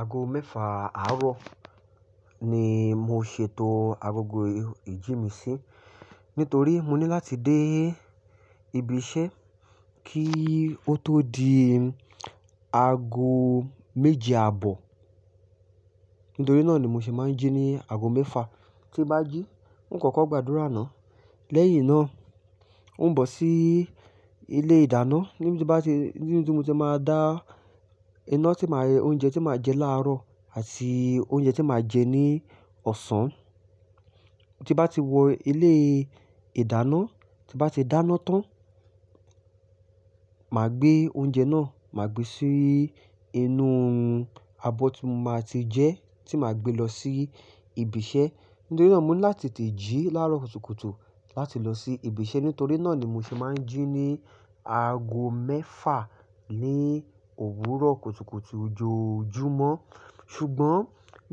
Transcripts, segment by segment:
Aago mẹ́fà àárọ̀ ni mo ṣètò agogo ìjí mi sí, nítorí mo ní láti dé ibi iṣẹ́ kí o tó di aago méje àbọ̀. Nítorí náà ni mo ṣe máa ń jí ní aago mẹ́fà, tí n bá jí n kọ́kọ́ gbàdúrà náà. Lẹ́yìn náà, i ń bọ̀ sí ilé ìdáná níbi tí mo ti máa dá iná tí màá oúnjẹ tí màá jẹ láàrọ̀ àti oúnjẹ tí màá jẹ ní ọ̀sán. Tí n bá ti wọ ilé ìdáná, tí n bá ti dáná tán, màá gbé oúnjẹ náà, màá gbé sí inú abọ́ tí mo máa ti jẹ́ tí màá gbé lọ sí ibi iṣẹ́. Nítorí náà mo ni láti tete jí láàrọ̀ kùtùkùtù láti lọ sí ibi iṣẹ́. Nítorí náà ni mo ṣe máa ń jí ní aago mẹ́fà ní òwúrọ̀ kùtùkùtù ojoojúmọ́. Ṣùgbọ́n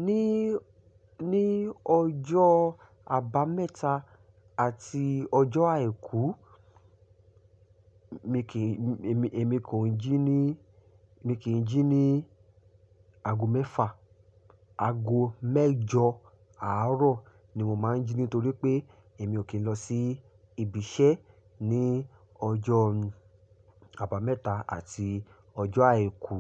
ní, ní ọjọ́ àbámẹ́ta àti ọjọ́ àìkú mi kìi, èmi, èmi kò ń jí ní, èmi kì í jí ní aago mẹ́fà. Aago mẹ́jọ àárọ̀ ni mo máa ń jí nítorí pé èmi ò kí ń lọ sí ibi iṣẹ́ ní ọjọ́ àbámẹ́ta àti ọjọ́ àìkú.